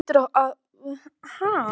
Hann hlýtur að fara að koma.